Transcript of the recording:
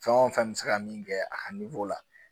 Fɛn o fɛn bɛ se ka min kɛ a ka la